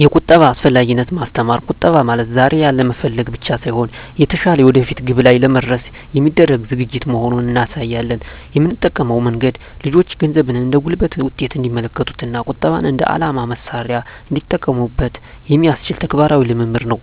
2)የቁጠባ አስፈላጊነትን ማስተማር ቁጠባ ማለት ዛሬ ያለመፈለግ ብቻ ሳይሆን፣ የተሻለ የወደፊት ግብ ላይ ለመድረስ የሚደረግ ዝግጅት መሆኑን እናሳያለን። የምንጠቀመው መንገድ ልጆቹ ገንዘብን እንደ ጉልበት ውጤት እንዲመለከቱት እና ቁጠባን እንደ የዓላማ መሣሪያ እንዲጠቀሙበት የሚያስችል ተግባራዊ ልምምድ ነው።